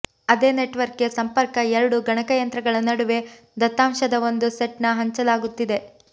ಅದೇ ನೆಟ್ವರ್ಕ್ಗೆ ಸಂಪರ್ಕ ಎರಡು ಗಣಕಯಂತ್ರಗಳ ನಡುವೆ ದತ್ತಾಂಶದ ಒಂದು ಸೆಟ್ನ ಹಂಚಲಾಗುತ್ತಿದೆ